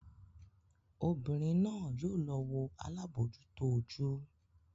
Obìnrín náa yóò lọ wọ alabojuto ojú.